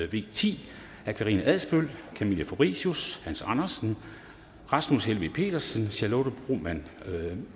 v ti af karina adsbøl camilla fabricius hans andersen rasmus helveg petersen charlotte broman